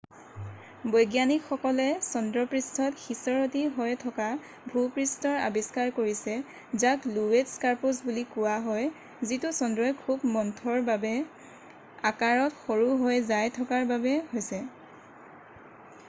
বৈজ্ঞানিকসকলে চন্দ্ৰপৃষ্ঠত সিঁচৰতি হৈ থকা ভূপৃষ্ঠৰ আবিষ্কাৰ কৰিছে যাক লোৱেট স্কাৰপছ বুলি কোৱা হয় যিতো চন্দ্ৰই খুৱ মন্থৰভাৱে আকাৰত সৰু হৈ যাই থকাৰ বাবে হৈছে